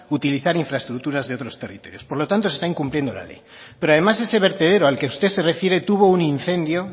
utilizar infraestructuras de otros territorios por lo tanto se está incumpliendo la ley pero además ese vertedero al que usted se refiere tuvo un incendio